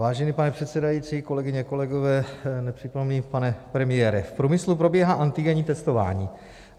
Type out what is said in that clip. Vážený pane předsedající, kolegyně, kolegové, nepřítomný pane premiére, v průmyslu probíhá antigenní testování.